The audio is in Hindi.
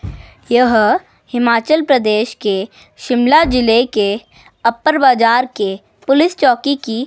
यह हिमाचल प्रदेश के शिमला जिले के अपर बाजार के पुलिस चौकी की--